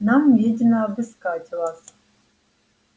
нам ведено обыскать вас